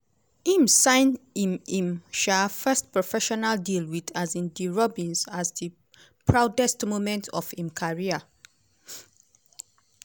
im sign im im um first professional deal wit um di robins as di proudest moment of im career.